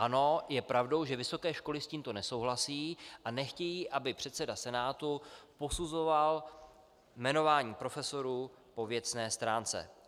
Ano, je pravdou, že vysoké školy s tímto nesouhlasí a nechtějí, aby předseda Senátu posuzoval jmenování profesorů po věcné stránce.